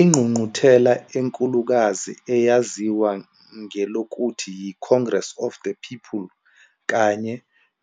Ingqungquthela enkulukazi eyaziwa ngelokuthi yi-Congress of the People kanye